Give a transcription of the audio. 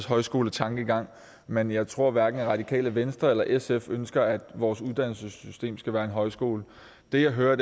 højskoletankegang men jeg tror at hverken radikale venstre eller sf ønsker at vores uddannelsessystem skal være en højskole det jeg hører